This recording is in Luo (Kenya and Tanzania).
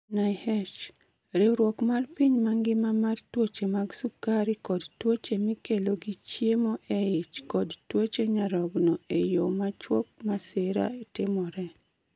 NIH: Riwruok mar piny mangima mar tuoche mag sukari kod tuoche mikelo gi chiemo e ich kod tuoche nyarogno e yo machuok : Masira timore.